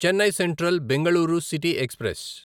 Chennai central Bengaluru city express